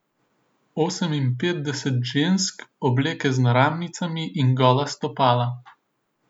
Oseminpetdeset žensk, obleke z naramnicami in gola stopala.